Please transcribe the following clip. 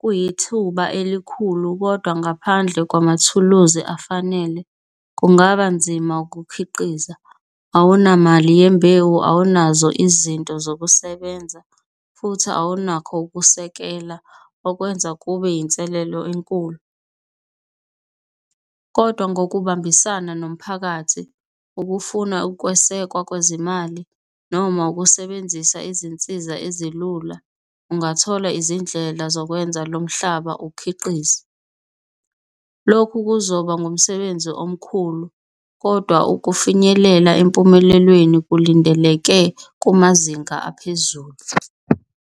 kuyithuba elikhulu kodwa ngaphandle kwamathuluzi afanele kungaba nzima ukukhiqiza. Awunamali yembewu, awunazo izinto zokusebenza, futhi awunakho ukusekela okwenza kube inselelo enkulu, kodwa ngokubambisana nomphakathi, ukufuna ukwesekwa kwezimali noma ukusebenzisa izinsiza ezilula, ungathola izindlela zokwenza lo mhlaba ukhiqize. Lokhu kuzoba ngumsebenzi omkhulu kodwa ukufinyelela empumelelweni kulindeleke kumazinga aphezulu.